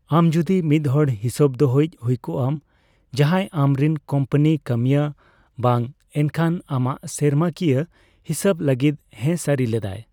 ᱟᱢ ᱡᱚᱫᱤ ᱢᱤᱫᱦᱚᱲ ᱦᱤᱥᱟᱹᱵ ᱫᱚᱦᱚᱭᱤᱡ ᱦᱩᱭ ᱠᱚᱜ ᱟᱢ, ᱡᱟᱦᱟᱸᱭ ᱟᱢ ᱨᱮᱱ ᱠᱳᱢᱯᱟᱱᱤ ᱠᱟᱹᱢᱤᱭᱟᱹ ᱵᱟᱝ, ᱮᱱᱠᱷᱟᱱ ᱟᱢᱟᱜ ᱥᱮᱨᱢᱟ ᱠᱤᱭᱟᱹ ᱦᱤᱥᱟᱹᱵ ᱞᱟᱹᱜᱤᱫ ᱦᱮᱸ ᱥᱟᱹᱨᱤ ᱞᱮᱫᱟᱭ ᱾